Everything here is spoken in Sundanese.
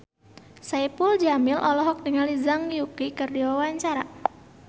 Saipul Jamil olohok ningali Zhang Yuqi keur diwawancara